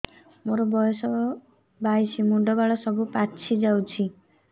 ମୋର ବୟସ ବାଇଶି ମୁଣ୍ଡ ବାଳ ସବୁ ପାଛି ଯାଉଛି